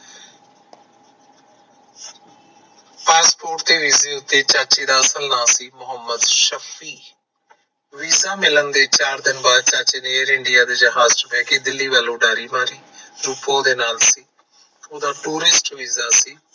passport ਤੇ ਵੀਜੇ ਤੇ ਚਾਚੇ ਦਾ ਅਸਲ ਨਾਮ ਸੀ ਮਹੁੰਮਦ ਸ਼ਫੀ visa ਮਿਲਣ ਦੇ ਚਾਰ ਦਿਨ ਬਾਅਦ ਚਾਚੇ ਨੇ ਦਿੱਲੀ ਵੱਲ ਦੀ ਉਡਾਰੀ ਮਾਰੀ ਰੂਪੋ ਨਾਲ ਸੀ ਉਹਦਾ tourist visa ਸੀ